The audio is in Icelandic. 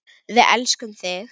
Við elskum þig!